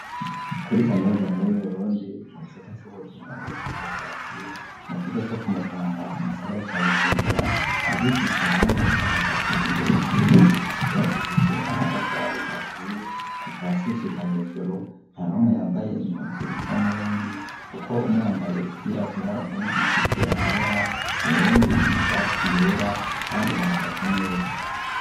Kuri kaminuza nkuru y'uburundi mu gisata c'ubuhinga n'ubushakashatsi mu kigo co kumutanga mu gisagara ca bujumbura abigisha bane bahagaze imbere y'ishure bubakishijwe amatafari ahiye kuva hasi gushika hejuru ntanumwe yambaye impuzu zisa n'ubundi kuko umwe yambaye izirabura uwundi izifise amabara uwundi ishati yera kandi bahagaze neza.